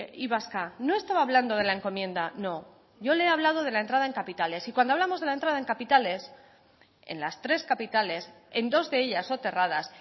y vasca no estaba hablando de la encomienda no yo le he hablado de la entrada en capitales y cuando hablamos de la entrada en capitales en las tres capitales en dos de ellas soterradas